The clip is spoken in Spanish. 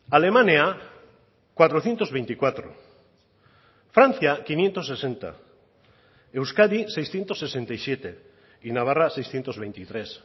alemania cuatrocientos veinticuatro francia quinientos sesenta euskadi seiscientos sesenta y siete y navarra seiscientos veintitrés